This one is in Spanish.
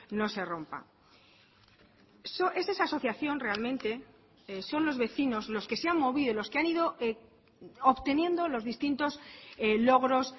no se rompa es esa asociación realmente son los vecinos los que se han movido los que han ido obteniendo los distintos logros